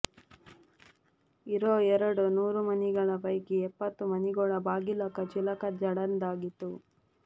ಇರೋ ಎರಡು ನೂರು ಮನಿಗಳ ಪೈಕಿ ಎಪ್ಪತ್ತು ಮನಿಗೋಳ ಬಾಗಿಲಕ ಚಿಲಕ ಜಡದಂಗಿತ್ತು